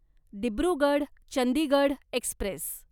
Dibrugarh Chandigarh Express